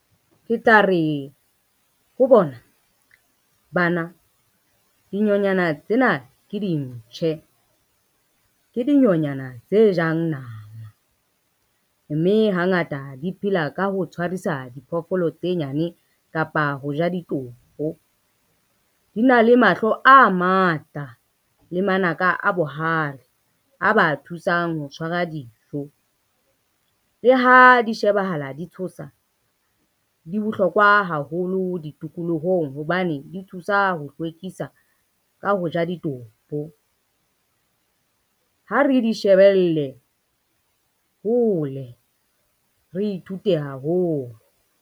Ke tla re ho bona, bana dinyonyana tsena ke dintjhe, ke dinonyana tse jang nama, mme hangata di phela ka ho tshwarisa diphoofolo tse nyane kapa ho ja ditopo. Di na le mahlo a matla le manaka a bohale a ba thusang ho tshwara dijo. Le ha di shebahala di tshosa, di bohlokwa haholo ditikolohong hobane di tshosa ho hlwekisa ka ho ja ditopo. Ha re di shebelle hole re ithute haholo.